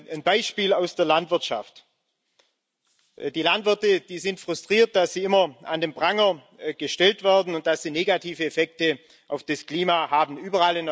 Ein Beispiel aus der Landwirtschaft Die Landwirte sind frustriert, dass sie immer an den Pranger gestellt werden und dass sie negative Effekte auf das Klima bewirken.